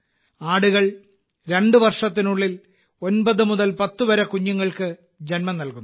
ആടുകൾ 2 വർഷത്തിനുള്ളിൽ 9 മുതൽ 10 വരെ കുഞ്ഞുങ്ങൾക്ക് ജന്മം നൽകുന്നു